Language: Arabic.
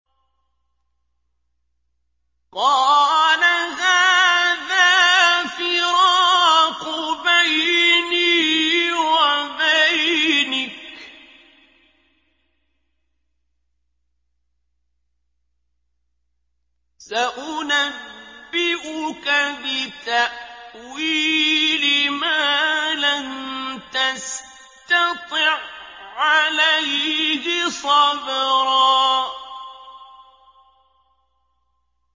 قَالَ هَٰذَا فِرَاقُ بَيْنِي وَبَيْنِكَ ۚ سَأُنَبِّئُكَ بِتَأْوِيلِ مَا لَمْ تَسْتَطِع عَّلَيْهِ صَبْرًا